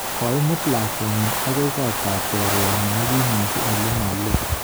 Koimut lakwenyi agoi kot ab chorwenyi negimeche ole ma loo